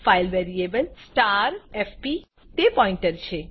file variableફાઈલ વેરીએબલfpતે pointer છે